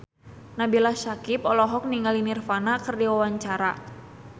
Nabila Syakieb olohok ningali Nirvana keur diwawancara